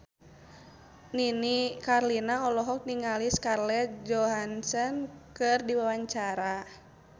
Nini Carlina olohok ningali Scarlett Johansson keur diwawancara